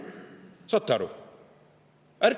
Kas saate aru?